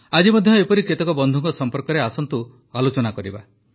ଆଜି ମଧ୍ୟ ଏପରି କେତେକ ବନ୍ଧୁଙ୍କ ସମ୍ପର୍କରେ ଆସନ୍ତୁ ଆଲୋଚନା କରିବା